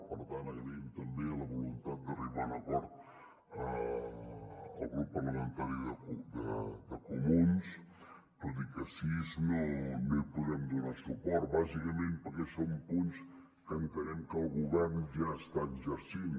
per tant agraïm també la voluntat d’arribar a un acord al grup parlamentari dels comuns tot i que a sis no hi podrem donar suport bàsicament perquè són punts que entenem que el govern ja està exercint